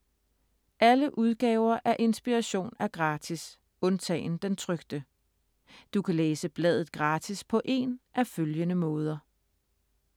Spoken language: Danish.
Alle udgaver af Inspiration er gratis, undtagen den trykte. Du kan læse bladet gratis på én af følgende måder: